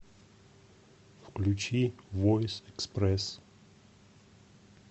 включи войс экспресс